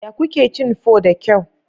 Yaya kuke cin pho da kyau?